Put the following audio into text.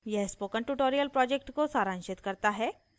यह spoken tutorial project को सारांशित करता है